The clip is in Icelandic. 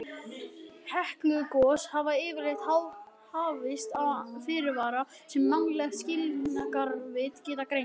Heklugos hafa yfirleitt hafist án fyrirvara sem mannleg skilningarvit geta greint.